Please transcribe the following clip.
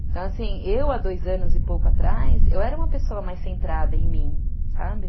Então, assim, eu há dois anos e pouco atrás, eu era uma pessoa mais centrada em mim, sabe?